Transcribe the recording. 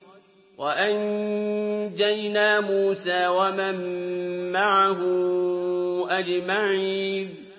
وَأَنجَيْنَا مُوسَىٰ وَمَن مَّعَهُ أَجْمَعِينَ